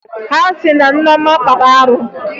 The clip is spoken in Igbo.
Ha sị na Nneọma kpara arụ